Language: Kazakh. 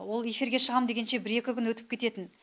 ол эфирге шығам дегенше бір екі күн өтіп кететін